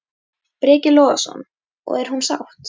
Breki Logason: Og er hún sátt?